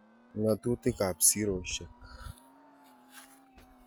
Ngatutik ab siroshek